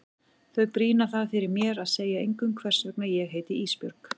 Þau brýna það fyrir mér að segja engum hvers vegna ég heiti Ísbjörg.